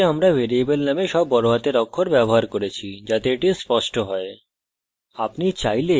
লক্ষ্য করুন যে আমরা ভ্যারিয়েবল name সব বড়হাতের অক্ষর ব্যবহার করেছি যাতে এটি স্পষ্ট হয়